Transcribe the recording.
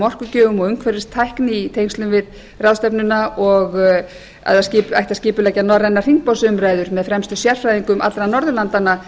orkugjöfum og umhverfistækni í tengslum við ráðstefnuna og að það ætti að skipuleggja norrænar hringborðsumræður með fremstu sérfræðingum allra norðurlandanna